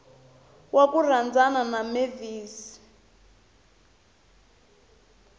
wa ku rhandzana na mavis